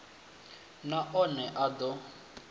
na one a d o